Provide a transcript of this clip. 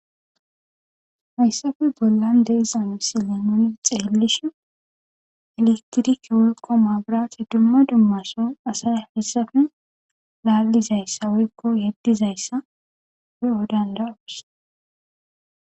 Hayssafe bollan deizam si leenooni xeelishi eletiriki wolqo maagirase dumma dummason asa hessafe laallizayssa woykko yeddizayssa weodandawus